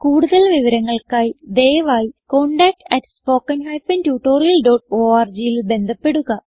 കൂടുതൽ വിവരങ്ങൾക്കായി ദയവായി contactspoken tutorialorgൽ ബന്ധപ്പെടുക